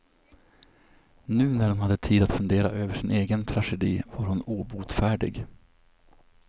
Nu när hon hade tid att fundera över sin egen tragedi var hon obotfärdig.